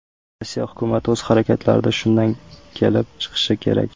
Rossiya hukumat o‘z harakatlarida shundan kelib chiqishi kerak.